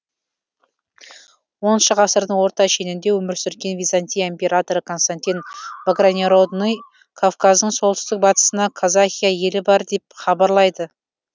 оныншы ғасырдың орта шенінде өмір сүрген византия императоры константин багрянородный кавказдың солтүстік батысында казахия елі бар деп хабарлайды